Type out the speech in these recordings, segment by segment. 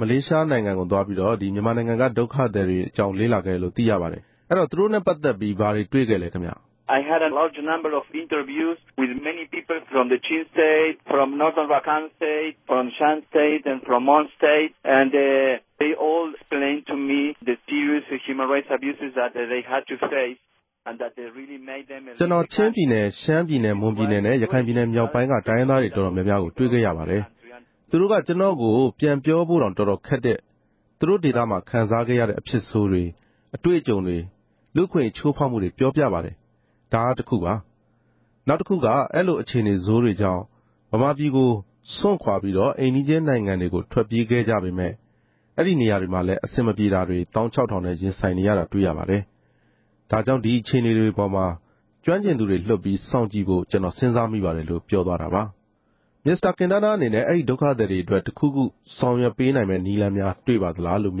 မလေးရှားနိုင်ငံကို သွားပြီး မြန်မာနိုင်ငံက ဒုက္ခသည်တွေအကြောင်း လေ့လာခဲ့တယ်လို့ သိရပါတယ်။ အဲဒီတော့ မြန်မာဒုက္ခသည်တွေနဲ့ ပတ်သက်ပြီး မစ္စတာကင်တားနား ဘာတွေ့ရှိခဲ့လဲ ခင်ဗျ။ ကျွန်တော် ချင်းပြည်နယ်၊ ရှမ်းပြည်နယ်၊ မွန်ပြည်နယ်နဲ့ ရခိုင်ပြည်နယ်မြောက်ပိုင်းက တိုင်းရင်းသား တော်တော်များများကို တွေ့ခဲ့ရပါတယ်။ သူတို့က ကျွန်တော့်ကို ပြန်ပြောဖို့တောင် တော်တော်ခက်တဲ့ သူတို့ ဒေသမှာ ခံစားခဲ့ရတဲ့ အဖြစ်ဆိုးတွေ၊ အတွေ့အကြုံတွေ၊ လူ့ အခွင့်အရေး ချိုးဖောက်မှုတွေ ပြောပြပါတယ်။ ဒါကတခုပါ။ နောက်တခုက အဲလို အခြေအနေဆိုးတွေကြောင့် မြန်မာပြည်ကို စွန့်ခွာ ပြီး အိမ်နီးချင်းနိုင်ငံတွေကို ထွက်ပြေးခဲ့ကြပေမဲ့ အဲဒီနေရာတွေမှာလဲ အဆင်မပြေမှုတွေ သောင်းခြောက်ထောင်နဲ့ ရင်ဆိုင်နေရတာ တွေ့ရပါတယ်။ ဒါကြောင့် ဒီအခြေအနေတွေပေါ်မှာ ကျွမ်းကျင်သူတွေ လွှတ်ပြီး စောင့်ကြည့်ဖို့ ကျွန်တော် စဉ်းစားမိပါတယ်လို့ ပြောသွားပါတယ်။ မစ္စတာကင်တားနားအနေနဲ့ အဲဒီဒုက္ခသည်တွေအတွက် တခုခု ဆောင်ရွက်ပေးနိုင်မဲ့ နည်းလမ်းများ တွေ့ပါသလား။ ဟုတ်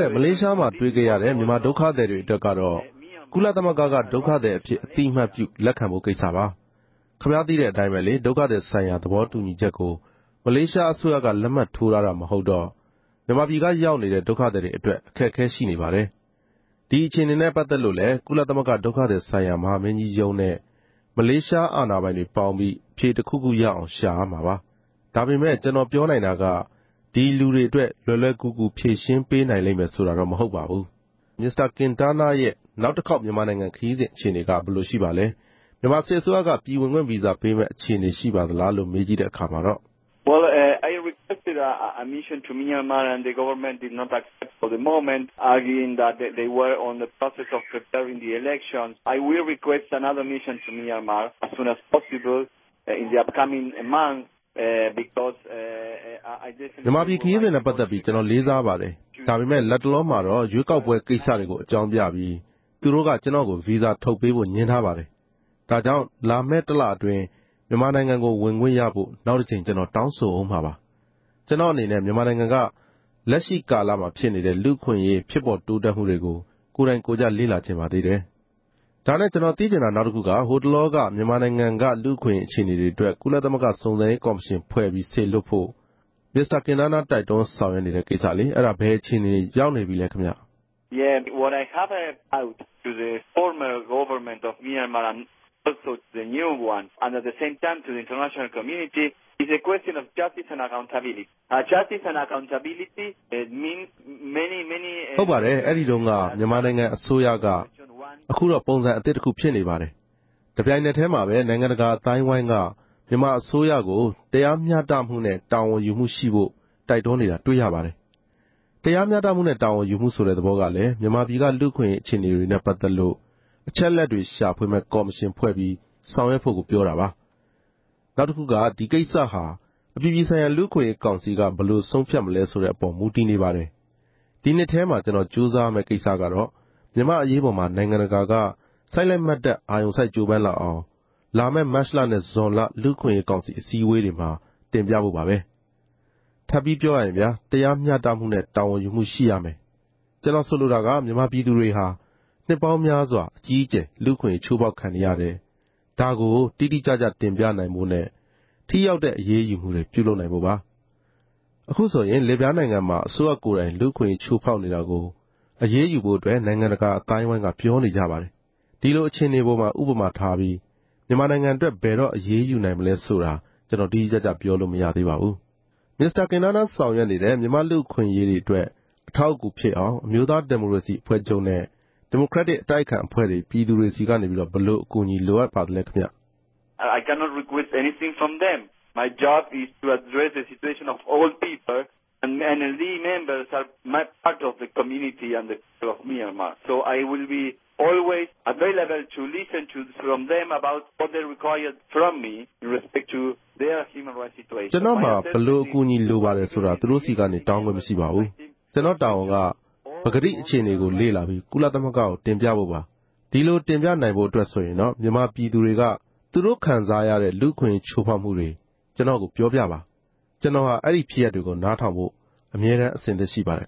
ကဲ့ မလေးရှားမှာ တွေ့ခဲ့ရတဲ့ မြန်မာဒုက္ခသည်တွေ အတွက်ကတော့ ကုလသမဂ္ဂက ဒုက္ခသည် အဖြစ် အသိအမှတ်ပြု လက်ခံဖို့ ကိစ္စပါ။ ခင်ဗျားသိတဲ့အတိုင်းပဲ ဒုက္ခသည်ဆိုင်ရာ သဘောတူညီချက်ကို မလေးရှားအစိုးရက လက်မှတ်ထိုးထားတာ မဟုတ်တော့ မြန်မာပြည်က ရောက်နေတဲ့ ဒုက္ခသည်တွေ အတွက် အခက်အခဲ ရှိနေပါတယ်။ ဒီအခြေအနေနဲ့ ပတ်သက်လို့လည်း ကုလသမဂ္ဂ ဒုက္ခသည်ဆိုင်ရာ မဟာမင်းကြီးရုံးနဲ့ မလေးရှား အာဏာပိုင်တွေ ပေါင်းပြီး အဖြေတခုခု ရအောင် ရှာမှာပါ။ ဒါပေမဲ့ ကျွန်တော်ပြောနိုင်တာက ဒီလူတွေအတွက် လွယ်လွယ်ကူကူ ဖြေရှင်း ပေးနိုင်လိမ့်မယ် ဆိုတာတော့ မဟုတ်ပါဘူး။ နောက်တခု ကျွန်တော်မေးချင်တာက မစ္စတာကင်တားနားရဲ့ နောက်တခေါက် မြန်မာနိုင်ငံခရီးစဉ် အခြေအနေက ဘယ်လိုရှိပါလဲ၊ မြန်မာစစ်အစိုးရက ပြည်ဝင်ခွင့်ဗီဇာ ပေးမဲ့ အခြေအနေ ရှိပါသလား။ မြန်မာပြည်ခရီးစဉ်နဲ့ ပတ်သက်ပြီး ကျွန်တော်လေးစားပါတယ်။ ဒါပေမဲ့ လက်တလောမှာတော့ ရွေးကောက်ပွဲကိစ္စတွေ အကြောင်းပြပြီး သူတို့က ကျွန်တော့်ကို ဗီဇာထုတ်ပေးဖို့ ငြင်းဆန်ထားပါတယ်။ ဒါကြောင့် လာမဲ့ တလအတွင်း မြန်မာနိုင်ငံကို ဝင်ခွင့်ရဖို့ နောက်တကြိမ် ကျွန်တော်တောင်းဆိုဦးမှာပါ။ ကျွန်တော့်အနေနဲ့ မြန်မာနိုင်ငံက လက်ရှိကာလ လူ့အခွင့်အရေး ဖြစ်ပေါ် တိုးတက်မှုတွေကို ကိုယ်တိုင်ကိုယ်ကျ လေ့လာချင်ပါသေးတယ်။ ဟိုတလောက မြန်မာနိုင်ငံက လူ့အခွင့်အရေးအခြေအနေ တွေအတွက် ကုလသမဂ္ဂ စုံစမ်းရေး ကော်မရှင် ဖွဲ့ပြီး စေလွှတ်လေ့လာဖို့ မစ္စတာကင်တားနား တိုက်တွန်းဆောင်ရွက်နေတဲ့ကိစ္စ၊ အဲဒါ ဘယ်အခြေအနေ ရောက်နေပြီလဲခင်ဗျ။ ဟုတ်ပါတယ်။ အဲဒီတုန်းက မြန်မာနိုင်ငံအစိုးရက အခု ပုံစံအသစ်တခု ဖြစ်နေပါတယ်။ တပြိုင်နက်တည်းမှာပဲ နိုင်ငံတကာအသိုင်းအဝိုင်းက မြန်မာအစိုးရကို တရားမျှတမှုနဲ့ တာဝန်ယူမှုရှိဖို့ တိုက်တွန်းနေတာ တွေ့ရပါတယ်။ တရားမျှတမှုနဲ့ တာဝန်ယူမှုဆိုတဲ့ သဘောက မြန်မာပြည်ကလူ့ အခွင့်အရေး အခြေအနေတွေနဲ့ ပတ်သက်လို့ အချက်အလက်တွေ ရှာဖွေမဲ့ ကော်မရှင် ဖွဲ့ပြီး ဆောင်ရွက်ဖို့ကို ပြောတာပါ။ နောက်တခုက ဒီကိစ္စဟာ အပြည်ပြည်ဆိုင်ရာ လူ့အခွင့်အရေး ကောင်စီက ဘယ်လို ဆုံးဖြတ်မလဲ ဆိုတဲ့အပေါ် မူတည်နေပါတယ်။ ဒီနှစ်ထဲ ကျွန်တော် ကြိုးစားရမဲ့ ကိစ္စကတော့ မြန်မာ့အရေးပေါ်မှာ နိုင်ငံတကာက စိုက်လိုက်မတ်တတ် အာရုံစိုက် ကြိုးပမ်းလာအောင် လာမဲ့ မတ်လနဲ့ ဇွန်လ လူ့ အခွင့်အရေးကောင်စီ အစည်းအဝေးတွေမှာ တင်ပြဖို့ပါပဲ။ ထပ်ပြီးပြောရရင် တရားမျှတမှုနဲ့ တာဝန်ယူမှု ရှိရမယ်။ ကျွန်တော်ဆိုလိုတာက မြန်မာပြည်သူတွေဟာ နှစ်ပေါင်းများစွာ အကြီးအကျယ် လူ့အခွင့်အရေး ချိုးဖောက်ခံနေရတယ်၊ ဒါကို တိတိကျကျ တင်ပြနိုင်ဖို့နဲ့ ထိရောက်တဲ့ အရေးယူမှုတွေ ပြုလုပ်နိုင်ဖို့ပါ။ အခုဆိုရင် လစ်ဗျားနိုင်ငံမှာ အစိုးရကိုယ်တိုင် လူ့အခွင့်အရေး ချိုးဖောက်နေတာကို အရေးယူဖို့ နိုင်ငံတကာ အသိုင်းအဝိုင်းက ပြောနေကြတယ်။ ဒီလိုအခြေအနေ ပေါ်မှာ ဥပမာထားပြီး မြန်မာနိုင်ငံအတွက် ဘယ်တော့ အရေးယူနိုင်မလဲ ဆိုတာ ကျွန်တော် တိတိကျကျ ပြောလို့မရသေးပါဘူး။ မစ္စတာကင်တာနား ဆောင်ရွက်နေတဲ့ မြန်မာ့ လူ့အခွင့်အရေးအတွက် အထောက်အကူ ဖြစ်အောင် အမျိုးသား ဒီမိုကရေစီအဖွဲ့ချုပ်နဲ့ ဒီမိုကရက်တစ် အတိုက်အခံအဖွဲ့တွေ ပြည်သူတွေဆီက ဘယ်လို အကူအညီ လိုအပ်ပါသလဲ။ ကျွန်တော့်မှာ ဘယ်လို အကူအညီ လိုပါတယ်ဆိုတာ သူတို့ဆီကနေ တောင်းခွင့်မရှိပါဘူး။ ကျွန်တော့် တာဝန်က ပကတိ အခြေအနေကို လေ့လာပြီး ကုလသမဂ္ဂကို တင်ပြဖို့ပါ။ ဒီလိုတင်ပြနိုင်ဖို့အတွက် မြန်မာပြည်သူတွေက သူတို့ခံစားရတဲ့ လူ့အခွင့်အရေး ချိုးဖောက်မှုတွေ ကျွန်တော့်ကို ပြောပြပါ။ ကျွန်တော်ဟာ အဲဒီဖြစ်ရပ်တွေကို နားထောင်ဖို့ အမြဲတမ်း အဆင်သင့် ရှိပါတယ်